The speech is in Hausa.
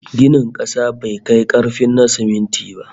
Ginin kasa bai kai karfin na siminti ba